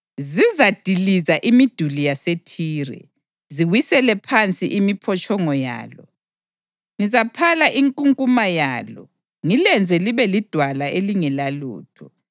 Zizadiliza imiduli yaseThire, ziwisele phansi imiphotshongo yalo; ngizaphala inkunkuma yalo ngilenze libe lidwala elingelalutho.